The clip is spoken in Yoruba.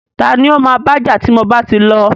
Tani o ma baja ti mo bá ti lọ?